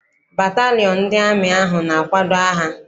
Batalịon ndị amị ahụ na-akwado agha.